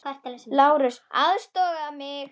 LÁRUS: Aðstoða mig!